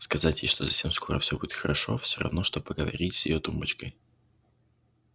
сказать ей что совсем скоро всё будет хорошо всё равно что поговорить с её тумбочкой